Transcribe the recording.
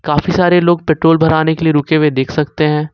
काफी सारे लोग पेट्रोल भराने के लिए रुके हुए दिख सकते है।